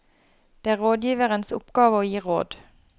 Det er rådgiverens oppgave å gi råd.